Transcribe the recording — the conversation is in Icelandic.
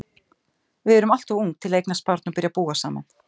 Við erum alltof ung til að eignast barn og byrja að búa saman.